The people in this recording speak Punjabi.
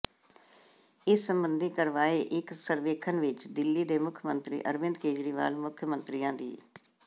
ਇਸ ਸਬੰਧੀ ਕਰਵਾਏ ਇਕ ਸਰਵੇਖਣ ਵਿਚ ਦਿੱਲੀ ਦੇ ਮੁੱਖ ਮੰਤਰੀ ਅਰਵਿੰਦ ਕੇਜਰੀਵਾਲ ਮੁੱਖ ਮੰਤਰੀਆਂ ਦੀ